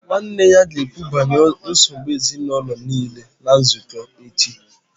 Nwanne ya ga-ekwu banyere nsogbu ezinụlọ niile na nzukọ echi